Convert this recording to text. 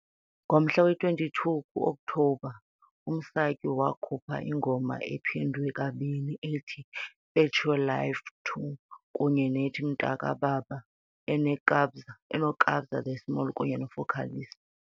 Ngomhla we-22 ku-Okthobha, uMsaki wakhupha ingoma ephindwe kabini ethi "Fetch Your Life II" kunye nethi "Mntakababa" eneKabza De Small kunye neFocalistic .